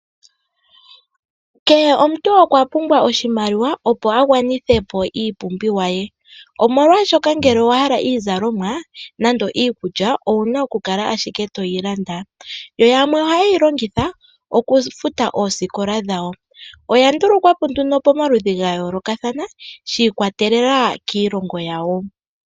Kehe omuntu okwa pumbwa oshimaliwa opo a gwanithepo iipumbiwa ye omolwashoka ngele owa hala iizalomwa nenge iikulya owu na okukala ashike toyi landa yo yamwe ohaye yi longitha okufuta oosikola dhawo, oya ndulukwapo nduno pomaludhi ga yoolokathana shiikwatelela kiilongo yawo.